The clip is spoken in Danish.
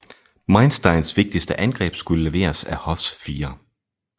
Mainsteins vigtigste angreb skulle leveres af Hoths 4